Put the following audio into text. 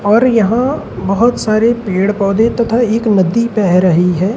और यहां बहुत सारे पेड़ पौधे तथा एक नदी बह रही है।